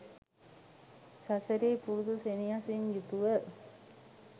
සසරෙහි පුරුදු සෙනෙහසින් යුතුව